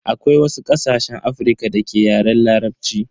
Akwai wasu ƙasashen Afrika da ke Yaren Larabci.